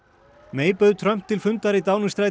May bauð Trump til fundar í